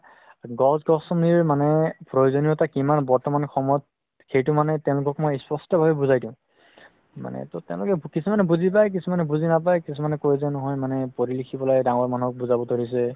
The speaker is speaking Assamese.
গছ গছনীৰ মানে প্ৰয়োজনিয়তা কিমান বৰ্তমান সময়ত সেইটো মানে তেওলোকক মই স্পষ্ট ভাবে বুজাই দিও মানে তেওলোকে ট কিছুমানে বুজি পাই কিছুমানে মানে নাপাই কিছুমানে কৈছে মানে পঢ়ি লিখি পেলাই ডাঙৰ মানুহক বুজাব ধৰিছে